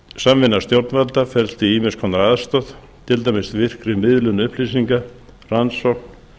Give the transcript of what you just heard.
samvinna stjórnvalda felst í ýmiss konar aðstoð til dæmis virkri miðlun upplýsinga rannsókn